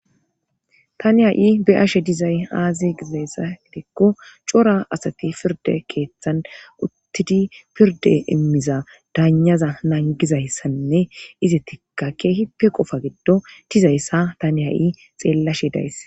tani ha7i beyashe dizay aazi gizayssa gidikko cora asati pirde keeththan uttidi pirde immiza daanaza nangizayssanne ize tikka keehipe qofa giddo dizayssa tani ha7i xeellashe days